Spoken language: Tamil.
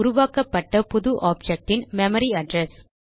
உருவாக்கப்பட்ட புது ஆப்ஜெக்ட் ன் மெமரி அட்ரெஸ்